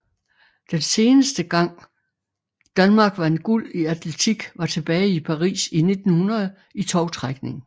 Den seneste gang Danmark vandt guld i atletik var tilbage i Paris i 1900 i tovtrækning